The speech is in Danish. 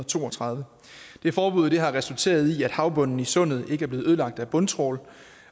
to og tredive det forbud har resulteret i at havbunden i sundet ikke er blevet ødelagt af bundtrawl